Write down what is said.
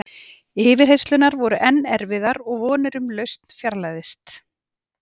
Yfirheyrslurnar voru enn erfiðar og vonin um lausn fjarlægðist.